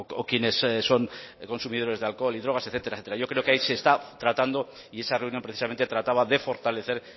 o quienes son consumidores de alcohol y drogas etcétera etcétera yo creo que ahí se está tratando y esa reunión precisamente trataba de fortalecer